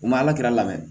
U ma alakira lamɛn